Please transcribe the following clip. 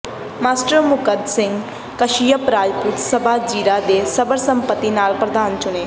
master Mukand Singh Kashyap Rajput Sabha Zira ਦੇ ਸਰਬਸੰਮਤੀ ਨਾਲ ਪ੍ਰਧਾਨ ਚੁਣੇ